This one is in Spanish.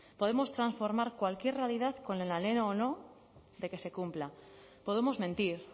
podemos transformar cualquier realidad con el anhelo o no de que se cumpla podemos mentir